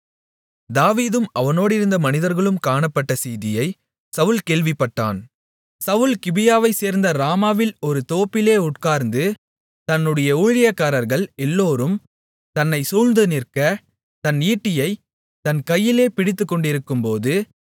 தாவீதும் அவனோடிருந்த மனிதர்களும் காணப்பட்ட செய்தியை சவுல் கேள்விப்பட்டான் சவுல் கிபியாவைச் சேர்ந்த ராமாவில் ஒரு தோப்பிலே உட்கார்ந்து தன்னுடைய ஊழியக்காரர்கள் எல்லோரும் தன்னைச் சூழ்ந்து நிற்க தன் ஈட்டியைத் தன் கையிலே பிடித்துக்கொண்டிருக்கும்போது